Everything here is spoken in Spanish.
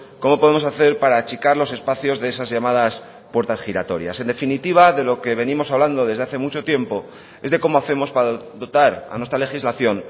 cómo podemos hacer para achicar los espacios de esas llamadas puertas giratorias en definitiva de lo que venimos hablando desde hace mucho tiempo es de cómo hacemos para dotar a nuestra legislación